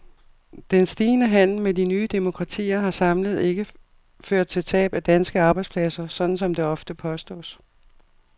Den stigende handel med de nye demokratier har samlet ikke ført til tab af danske arbejdspladser, sådan som det ofte påstås.